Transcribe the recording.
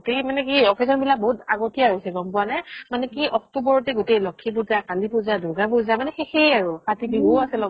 গুতেই মানে কি occasion বিলাক বহুত আগতিয়া হৈছে গ'ম পুৱা নে মানে কি october তে গুতেই লক্ষ্মী পুজা, কালি পুজা, দুৰ্গা পুজা মানে শেষে আৰু কাতি বিহুও আছে লগত